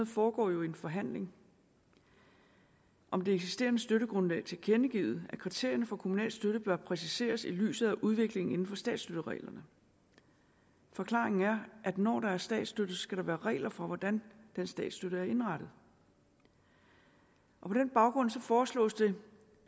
foregår jo i en forhandling om det eksisterende støttegrundlag tilkendegivet at kriterierne for kommunal støtte bør præciseres i lyset af udviklingen inden for statsstøttereglerne forklaringen er at når der er statsstøtte så skal der være regler for hvordan den statsstøtte er indrettet på den baggrund foreslås det